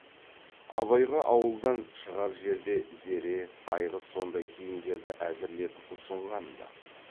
абайға ауылдан шығар жерде зере айғыз сондай киімдерді әзірлетіп ұсынған ды